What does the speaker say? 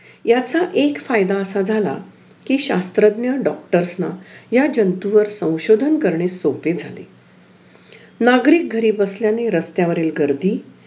अं iib असे classes होते neet चे तर तिथे मग ते पेपर ला मला चांगले हि झालं म्हणून मला तिथे पण